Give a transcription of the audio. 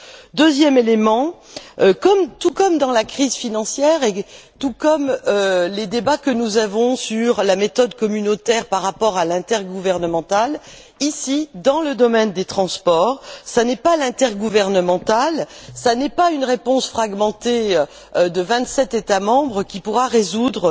Concernant le deuxième élément, tout comme dans la crise financière et tout comme les débats que nous avons sur la méthode communautaire par rapport à l'intergouvernemental, ici, dans le domaine des transports, ce n'est pas l'intergouvernemental, ce n'est pas une réponse fragmentée de vingt sept États membres qui pourra résoudre